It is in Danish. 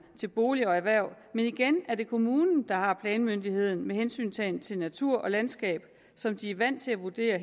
til boliger og erhverv men igen er det kommunen der har planmyndigheden med hensyntagen til natur og landskab som de er vant til at vurdere